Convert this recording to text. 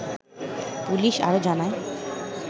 police আরো জানায়